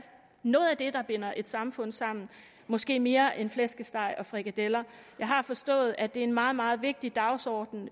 noget af det der binder et samfund sammen måske mere end flæskesteg og frikadeller jeg har forstået at det er en meget meget vigtig dagsorden